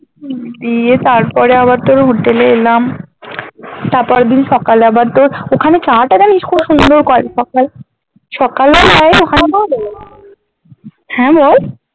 উম দিয়ে তারপরে আবার তোর hotel এ এলাম তার পরের দিন সকালে আবার তোর ওখানে চা টা সুন্দর করে সকালে সকালে হ্যাঁ বল